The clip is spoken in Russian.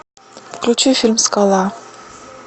включи фильм скала